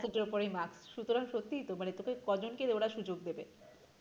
সুতরাং সত্যিই তো মানে তোকে ক জনকে ওরা সুযোগ দেবে?